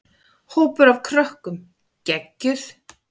Hópur af krökkum: Geggjuð.